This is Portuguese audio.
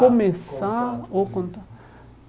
Começar contar ou contar?